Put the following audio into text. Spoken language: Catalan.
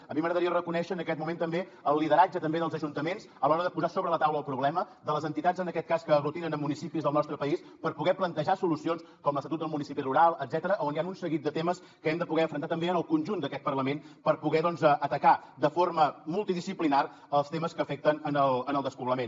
a mi m’agradaria reconèixer en aquest moment també el lideratge dels ajuntaments a l’hora de posar sobre la taula el problema de les entitats en aquest cas que aglutinen municipis del nostre país per poder plantejar solucions com l’estatut del municipi rural etcètera on hi han un seguit de temes que hem de poder afrontar també en el conjunt d’aquest parlament per poder doncs atacar de forma mul tidisciplinària els temes que afecten el despoblament